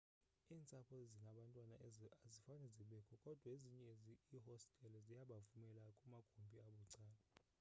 iintsapho ezinabantwana azifane zibekho kodwa ezinye iihostele ziyabavumela kumagumbi abucala